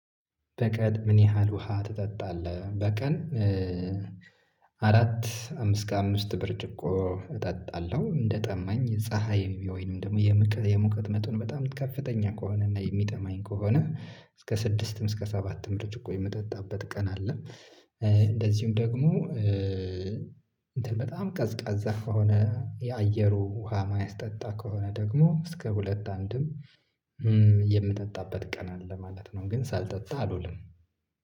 በቀን ምን ያህል ውሃ ትጠጣለህ በቀን? አራት አምስት እስከአምስት ብርጭቆ እጠጣለሁ። እንደ ጠማኝ ፀሀይ ወይንም ደግሞ የሙቀት መጠኑ በጣም ከፍተኛ ከሆነ እና የሚጠማኝ ከሆነ እስከ ስድስትም እስከ ሰባትም ብርጭቆ የምጠጣበት ቀን አለ። እንደዚሁም ደግሞ እንትን በጣም ቀዝቃዛ ከሆነ የአየሩ ውሃ የማያስጠጣ ከሆነ ደግሞ እስከ ሁለት አንድም የምጠጣበት ቀን አለ ማለት ነው። ግን ሳልጠጣ አልውልም።